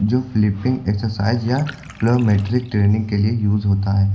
जो flipping exercise या metric training के लिए यूज होता है।